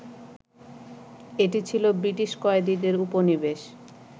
এটি ছিল ব্রিটিশ কয়েদীদের উপনিবেশ